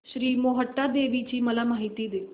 श्री मोहटादेवी ची मला माहिती दे